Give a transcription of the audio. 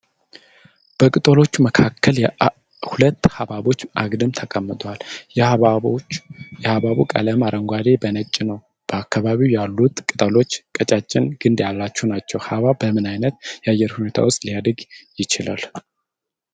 በቅጠሎች መካከል ሁለት ሃብሃቦች አግድም ተቀምጠዋል። የሃብሃቡ ቀለምም አረንጓዴ በነጭ ነው፤ በአካባቢው ያሉት ቅጠሎች ቀጫጭን ግንድ ያላቸው ናቸው። ሃብሃብ በምን አይነት የአየር ሁኔታ ዉስጥ ሊያድግ ይችላል?